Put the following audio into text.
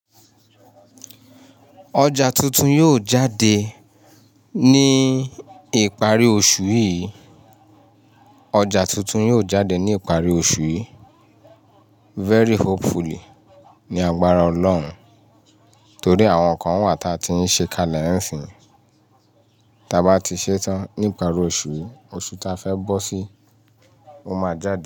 Ọjà tuntun yóò jáde ní ìparí oṣù yìí. Ọjà tuntun yóò jáde ní ìparí oṣù yìí. Very hopefully ni agbára Ọlọ́run, torí àwọn kan wà ta ti ń ṣe kalẹ̀ ẹ́ ẹ̀sìn. Ta bá ti ṣetán nípa ri oṣù yìí, oṣù ta fẹ́ bọ́ sí, ó máa jáde.